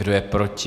Kdo je proti?